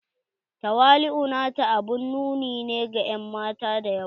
Tawali'u na ta abun nuni ne ga en mata da yawa.